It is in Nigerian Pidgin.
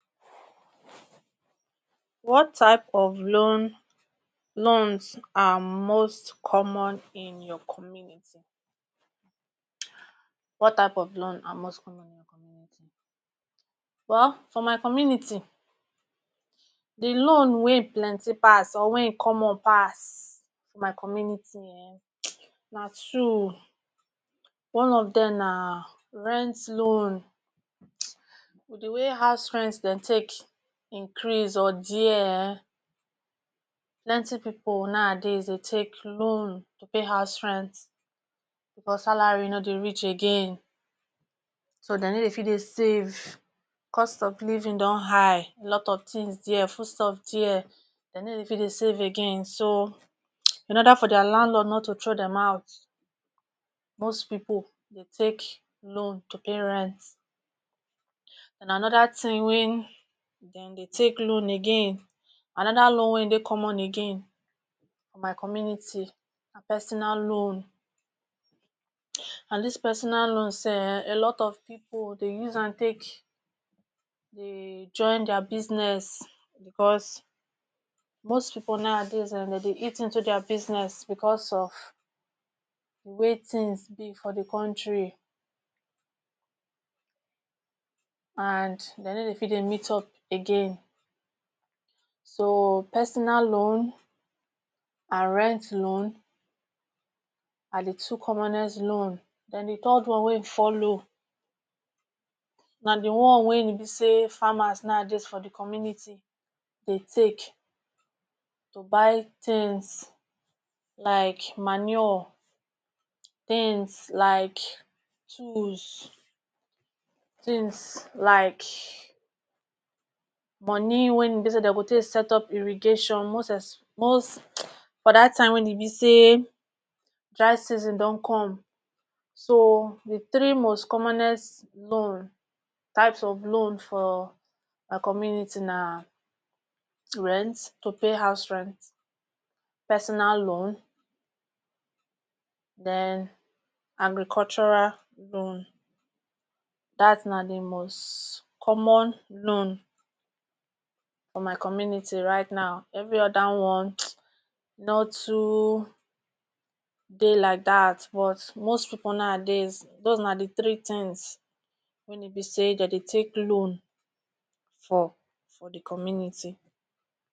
What types of loans loans are most common in your country? What type of loan are most common well for my community di loan wey e plenty pass or wey e common pass for my community um na two o, one of dem na rent loan di way house rent dem take increase or dia um plenty pipu dey take loan to pay house rent because salary no dey reach again, so dem no dey fit dey save, cost of living don high, lots of tins dia, foodstuff dia, dem no dey fit dey save again so in oda for dia landlord not to throway dem out most pipu take loan to pay rent. Den anoda tin wey dem dey take loan again anoda loan wey e dey common again for my community na personal loan and dis personal loan self [un] a lot of pipu dey use am take um join dia business because most pipu nowadays um dem dey eat into dia business because of di way things is for di country and dem no dey fit dey meet up again. So personal loan and rent loan are di two commonest loan. Den di third one wey e follow na di one wey be say farmers nowadays for di community dey take to buy tins like manure, tins like tools, tins like moni wey be say dem go take set up irrigation most espe most for dat time wey e be say dry season don come. So di tiree most commonest loan types of loan for my community na rent to pay house rent, personal loan, den agricultural loan. Dat na di most common loan for my community right now every oda one no too dey like dat but most pipu nowadays dose na di tiree tins wey be say dem dey take loan for for di community.